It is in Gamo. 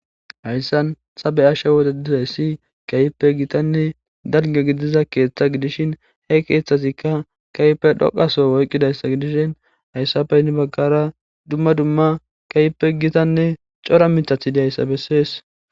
Hayssan ta bea'she dizzayssi kehippe gittanne dalgga gidiza keththa gidishin he keththazikka kehippe dhoqa Soho oyqizza gidishin. Hayssappe hini bagara dumma dumma kehippe giththanne coora mithathi diyssa besses.